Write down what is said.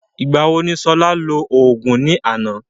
Ìgbà wo ni Ṣọlá lò òògùn ní àná?